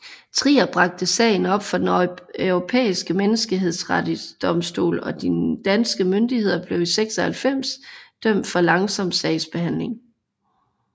Trier bragte sagen op for Den Europæiske Menneskerettighedsdomstol og de danske myndigheder blev i 1996 dømt for langsom sagsbehandling